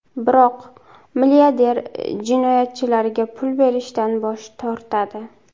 Biroq milliarder jinoyatchilarga pul berishdan bosh tortadi.